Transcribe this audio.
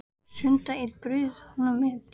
Sunnudag einn bauð hún mér heim til sín.